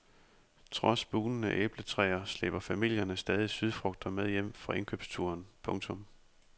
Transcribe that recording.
Trods bugnende æbletræer slæber familierne stadig sydfrugter med hjem fra indkomsturen. punktum